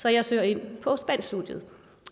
så jeg søger ind på spanskstudiet